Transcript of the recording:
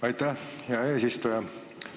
Aitäh, hea eesistuja!